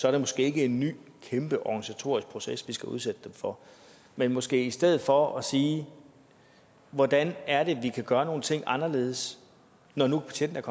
er det måske ikke en ny kæmpe organisatorisk proces vi skal udsætte dem for men måske i stedet for sige hvordan er det vi kan gøre nogle ting anderledes når nu betjentene